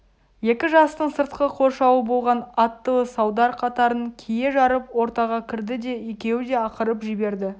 екі жастың сыртқы қоршауы болған аттылы салдар қатарын кие жарып ортаға кірді де екеу де ақырып жіберді